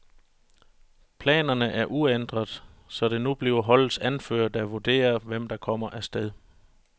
Planerne er ændret, så det nu bliver holdets anfører, der vurderer, hvem der kommer afsted.